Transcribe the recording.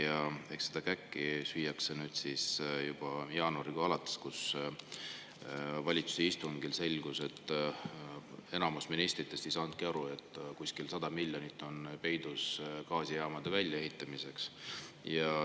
Ja eks seda käkki süüakse nüüd jaanuarikuust alates, kui valitsuse istungil selgus, et enamus ministritest ei olnud aru saanud, et kuskil on peidus 100 miljonit gaasijaamade väljaehitamiseks.